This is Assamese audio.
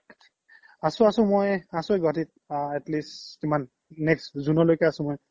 আছো আছো মই আছোয়ে গুৱাহাতিত atleast কিমান next june লইকে আছো মই